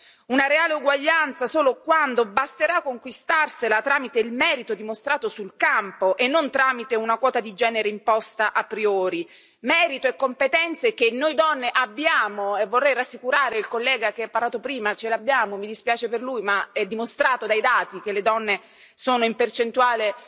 sarà una reale uguaglianza solo quando si potrà conquistarsela grazie al merito dimostrato sul campo e non grazie a una quota di genere imposta a priori, merito e competenze che noi donne abbiamo e vorrei rassicurare il collega che ha parlato prima mi dispiace per lui ma è dimostrato dai dati che le donne laureate sono in percentuale